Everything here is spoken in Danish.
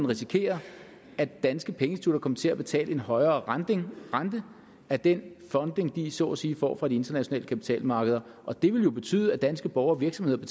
risikere at danske pengeinstitutter kom til at betale en højere rente af den funding de så at sige får fra de internationale kapitalmarkeder og det ville jo betyde at danske borgere og virksomheder